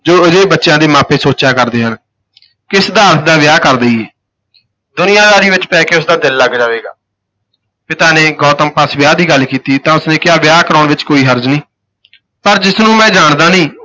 ਜੋ ਅਜਿਹੇ ਬੱਚਿਆਂ ਦੇ ਮਾਪੇ ਸੋਚਿਆ ਕਰਦੇ ਹਨ ਕਿ ਸਿਧਾਰਥ ਦਾ ਵਿਆਹ ਕਰ ਦੇਈਏ, ਦੁਨੀਆਂਦਾਰੀ ਵਿਚ ਪੈ ਕੇ ਉਸ ਦਾ ਦਿਲ ਲੱਗ ਜਾਵੇਗਾ, ਪਿਤਾ ਨੇ ਗੌਤਮ ਪਾਸ ਵਿਆਹ ਦੀ ਗੱਲ ਕੀਤੀ ਤਾਂ ਉਸ ਨੇ ਕਿਹਾ, ਵਿਆਹ ਕਰਾਉਣ ਵਿਚ ਕੋਈ ਹਰਜ ਨਹੀਂ ਪਰ ਜਿਸ ਨੂੰ ਮੈਂ ਜਾਣਦਾ ਨਹੀਂ